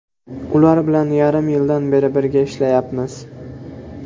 Ular bilan yarim yildan beri birga ishlayapmiz.